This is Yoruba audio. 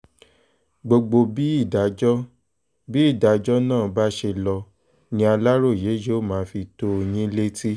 gbogbo bí ìdájọ́ bí ìdájọ́ náà bá ṣe lọ ni aláròye yóò máa fi tó yín létí